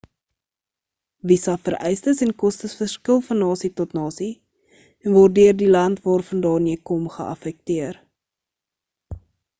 visa vereistes en kostes verskil van nasie tot nasie en word deur die land waarvandaan jy kom geaffekteer